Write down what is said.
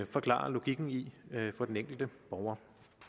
forklare logikken i for den enkelte borger